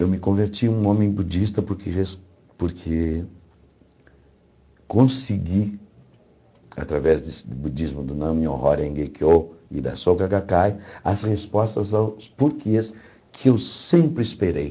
Eu me converti em um homem budista porque rés porque consegui, através do budismo do Nam-myoho-renge-kyo e da Soka Gakkai, as respostas aos porquês que eu sempre esperei.